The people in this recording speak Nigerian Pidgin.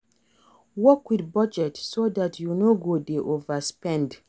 Work with budget so dat you no go dey overspend